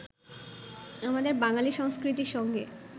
আমাদের বাঙালী সংস্কৃতির সঙ্গে